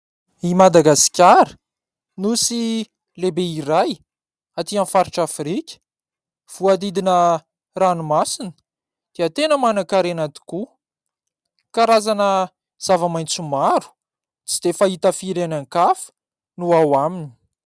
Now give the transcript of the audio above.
I Madagasikara nosy lehibe iray, aty amin'ny faritra Afrika, voahodidina ranomasina dia tena manankarena tokoa. Karazana zava-maitso maro tsy dia fahita firy any ankafa no ao aminy.